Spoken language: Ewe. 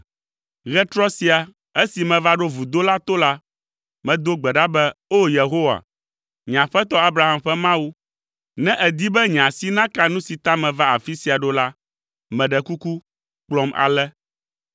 “Ɣetrɔ sia, esi meva ɖo vudo la to la, medo gbe ɖa be, ‘O, Yehowa, nye aƒetɔ Abraham ƒe Mawu, ne èdi be nye asi naka nu si ta meva afi sia ɖo la, meɖe kuku, kplɔm ale.